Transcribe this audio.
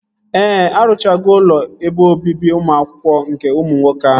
Ee, arụchago ụlọ ebe obibi ụmụ akwụkwọ nke ụmụ nwoke ahụ